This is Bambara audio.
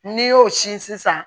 N'i y'o sin sisan